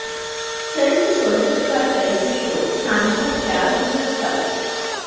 Saint Soldier का charity show सांझां प्यार दियां कल